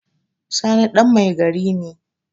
Sani ɗan mai gari ne